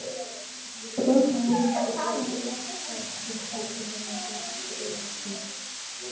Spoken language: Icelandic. Þungt blautt pilsið flaksast um fætur hennar og tefur fyrir.